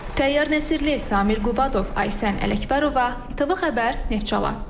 Təyyar Nəsirli, Samir Qubadov, Aysən Ələkbərova, İTV xəbər Neftçala.